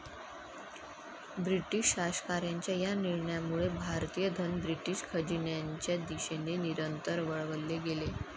British शासकांच्या या निर्णयामुळे भारतीय धन ब्रिटिश खजिन्याचे दिशेने निरंतर वळवले गेले.